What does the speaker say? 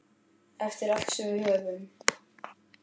Eftir allt sem við höfum.